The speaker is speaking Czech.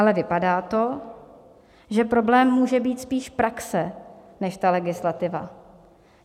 Ale vypadá to, že problém může být spíš praxe než ta legislativa.